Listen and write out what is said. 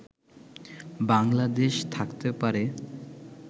বাংলাদেশ থাকতে পারে